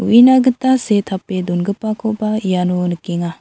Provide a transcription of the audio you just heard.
uina gita see tape dongipakoba iano nikenga.